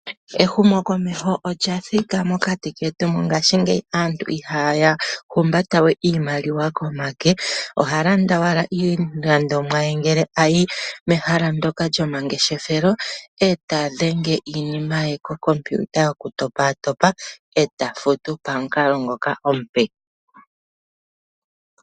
Ehumo komeho olya thika mokati ketu, mongashingeyi aantu ihaya humbata we iimaliwa pomake, oha landa owala iilandomwa ye ngele ayi mehala ndyoka lyomangeshefelo, eta dhenge iinima yaye ko kompiuta yoku topa topa, eta futu pamukalo ngoka omupe.